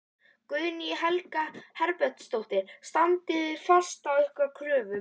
Guðný Helga Herbertsdóttir: Standið þið fast á ykkar kröfum?